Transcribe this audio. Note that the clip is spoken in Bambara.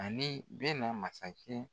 Ani Bɛna masakɛ